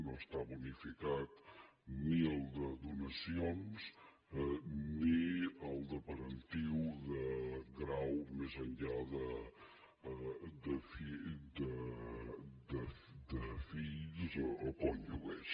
no està bonificat ni el de donacions ni el de parentiu de grau més enllà de fills o cònjuges